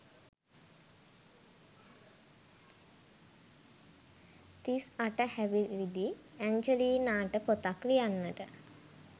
තිස් අට හැවිරිදි ඇන්ජලීනාට ‍පොතක් ලියන්නට